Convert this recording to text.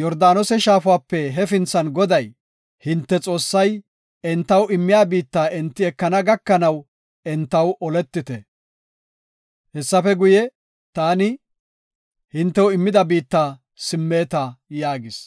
Yordaanose shaafape hefinthan Goday, hinte Xoossay entaw immiya biitta enti ekana gakanaw entaw oletite. Hessafe guye, taani hintew immida biitta simmeta” yaagis.